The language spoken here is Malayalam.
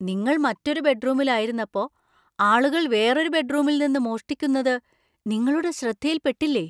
നിങ്ങൾ മറ്റൊരു ബെഡ്‌റൂമിൽ ആയിരുന്നപ്പോ ആളുകൾ വേറൊരു ബെഡ്‌റൂമിൽ നിന്ന് മോഷ്ടിക്കുന്നത് നിങ്ങളുടെ ശ്രദ്ധയിൽ പെട്ടില്ലേ ?